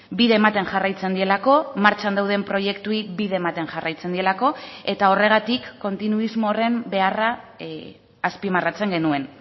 bide ematen jarraitzen dielako martxan dauden proiektuei bide ematen jarraitzen dielako eta horregatik kontinuismo horren beharra azpimarratzen genuen